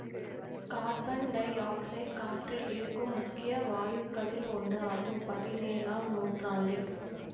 carbon dioxide காற்றில் இருக்கும் முக்கிய வாயுக்களில் ஒன்றாகும்பதினேழாம் நூற்றாண்டில்